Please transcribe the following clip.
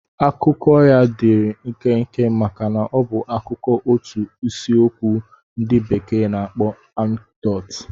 Akụkọ ya dịịrị nkenke maka ọ bụ akụkọ otu isiokwu ndị bekee na-akpọ anekdot.